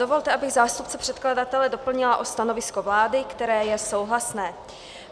Dovolte, abych zástupce předkladatele doplnila o stanovisko vlády, které je souhlasné.